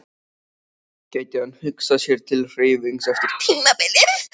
Gæti hann hugsað sér til hreyfings eftir tímabilið?